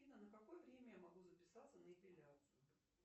афина на какое время я могу записаться на эпиляцию